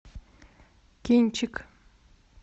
кинчик